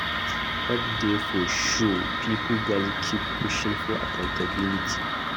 Hope dey for future; pipo gatz keep pushing for accountability.